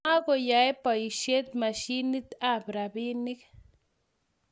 Ma koyae boishet mashinit ab rabinik